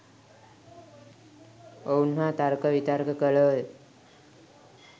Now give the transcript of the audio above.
ඔවුන් හා තර්ක විතර්ක කළෝය.